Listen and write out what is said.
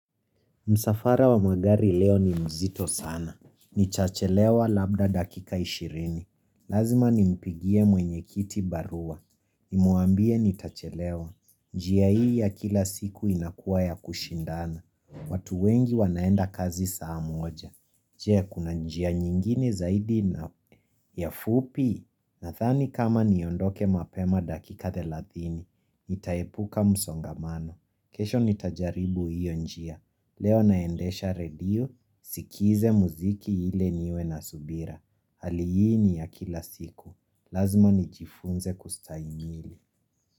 Msafara wa magari leo ni mzito sana. Nitachelewa labda dakika ishirini. Lazima nimpigie mwenyekiti barua. Nimuambie nitachelewa. Njia hii ya kila siku inakuwa ya kushindana. Watu wengi wanaenda kazi saa moja. Je kuna njia nyingine zaidi na ya ufupi? Nadhani kama niondoke mapema dakika thelathini. Nitaepuka msongamano. Kesho nitajaribu hiyo njia. Leo naendesha redio, sikize muziki ile niwe na subira Hali hii ya kila siku, lazima nijifunze kustahimili.